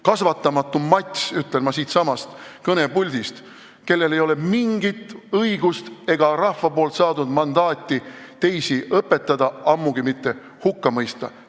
Kasvatamatu mats, ütlen ma siitsamast kõnepuldist, tal ei ole mitte mingit õigust ega rahvalt saadud mandaati teisi õpetada, ammugi mitte hukka mõista.